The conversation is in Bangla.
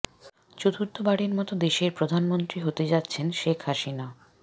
চতুর্থ বারের মত দেশের প্রধানমন্ত্রী হতে যাচ্ছেন শেখ হাসিনা